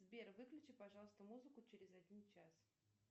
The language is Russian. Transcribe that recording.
сбер выключи пожалуйста музыку через один час